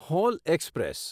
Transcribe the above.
hall express